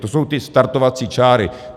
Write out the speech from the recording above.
To jsou ty startovací čáry.